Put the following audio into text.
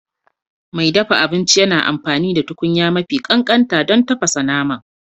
Mai dafa abinci yana amfani da tukunya mafi ƙanƙanta don tafasa naman